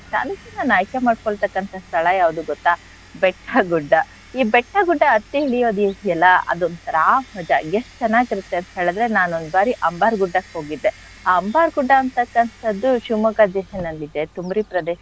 ನನ್ಗೆ ನಾನ್ ಆಯ್ಕೆ ಮಾಡ್ಕೊಳ್ತಕ್ಕಂತ ಸ್ಥಳ ಯಾವ್ದು ಗೊತ್ತ ಬೆಟ್ಟ ಗುಡ್ಡ. ಈ ಬೆಟ್ಟ ಗುಡ್ಡ ಹತ್ತಿ ಇಳ್ಯೋದ್ ಇದ್ಯಲ್ಲ ಅದ್ ಒಂತರ ಮಜಾ. ಎಷ್ಟ್ ಚೆನ್ನಾಗಿರತ್ತೆ ಅಂತ್ ಹೇಳಿದ್ರೆ, ನಾನ್ ಒಂದ್ ಬಾರಿ ಅಂಬರ್ ಗುಡ್ಡಕ್ ಹೋಗಿದ್ದೆ ಆ ಅಂಬಾರ್ ಗುಡ್ಡ ಅಂತಕ್ಕಂಥದ್ದು Shivamogga ಜಿಲ್ಲೆನಲ್ಲಿದೆ. ತುಮ್ರಿ ಪ್ರದೇಶ,